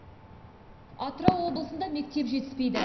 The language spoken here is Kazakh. атырау облысында мектеп жетіспейді